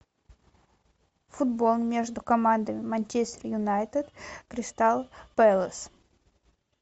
футбол между командами манчестер юнайтед кристал пэлас